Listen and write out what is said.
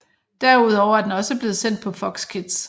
Derudover er den også blevet sendt på Fox Kids